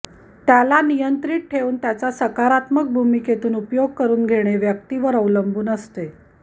त्याला नियंत्रित ठेवून त्याचा सकारात्मक भूमिकेतून उपयोग करून घेणे व्यक्तीवर अवलंबून असते